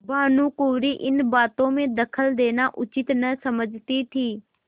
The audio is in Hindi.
भानुकुँवरि इन बातों में दखल देना उचित न समझती थी